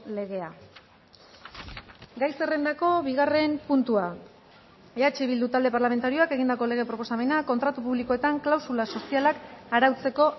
legea gai zerrendako bigarren puntua eh bildu talde parlamentarioak egindako lege proposamena kontratu publikoetan klausula sozialak arautzeko